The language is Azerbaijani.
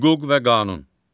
Hüquq və qanun.